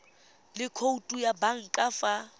le khoutu ya banka fa